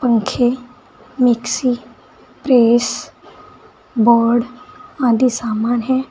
पंखे mixie press board आदि सामान है।